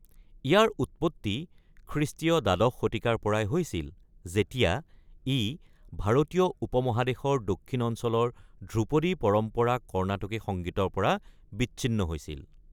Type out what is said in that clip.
ইয়াৰ উৎপত্তি খ্ৰীষ্টীয় দ্বাদশ শতিকাৰ পৰাই হৈছিল, যেতিয়া ই ভাৰতীয় উপমহাদেশৰ দক্ষিণ অঞ্চলৰ ধ্ৰুপদী পৰম্পৰা কৰ্ণাটকী সংগীতৰ পৰা বিচ্ছিন্ন হৈছিল।